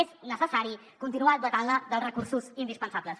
és necessari continuar dotant la dels recursos indispensables